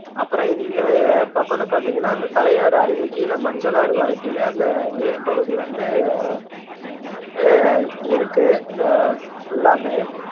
அப்பறம் இந்த பாக்கனு பாத்தீங்கன்னா இந்த தலையாறு அருவி கீழ மஞ்சளாறு வரைக்குமே அந்த நீர்பகுதி வந்து அஹ் இருக்கு அஹ் full லாமே